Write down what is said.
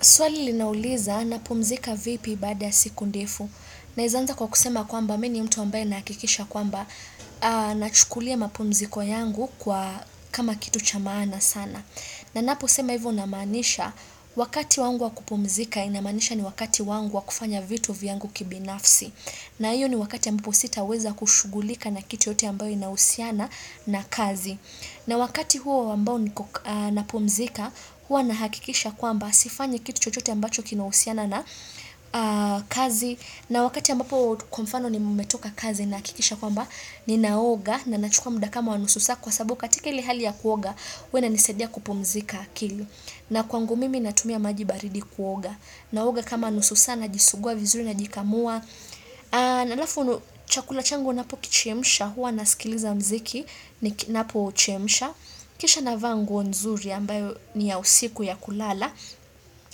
Swali linauliza, napumzika vipi baada siku ndefu. Naezaanza kwa kusema kwamba, mi ni mtu ambaye nahakikisha kwamba, na chukulia mapumziko yangu kwa kama kitu chamaana sana. Na napo sema hivo namaanisha, wakati wangu wakupumzika, inamaanisha ni wakati wangu wakufanya vitu vyangu kibinafsi. Na iyo ni wakati ambapo sita weza kushughulika na kitu yoyote ambayo inahusiana na kazi. Na wakati huo ambao napumzika, huwa nahakikisha kwamba, sifanyi kitu chochote ambacho kinahusiana na kazi na wakati ambapo kwa mfano ni mmetoka kazi nahakikisha kwamba ni naoga na nachukua muda kama wa nusu saa kwa sababu katika ile hali ya kuoga huwa ina nisaidia kupumzika akili na kwangu mimi natumia majibaridi kuoga naoga kama nusu saa na jisugua vizuri na jikamua na alafu chakula changu napo kichemisha huwa na sikiliza mziki na pochemisha kisha na vaa nguo nzuri ambayo ni ya usiku ya kulala